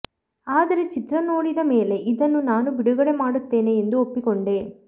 ಆದರೆ ಚಿತ್ರ ನೋಡಿದ ಮೇಲೆ ಇದನ್ನು ನಾನು ಬಿಡುಗಡೆ ಮಾಡುತ್ತೇನೆ ಎಂದು ಒಪ್ಪಿಕೊಂಡೆ